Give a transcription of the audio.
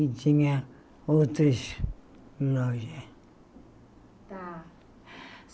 E tinha outros tá